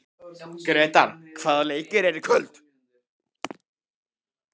Gretar, hvaða leikir eru í kvöld?